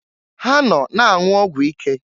Ha nọ na-anwụ ọgwụ ike.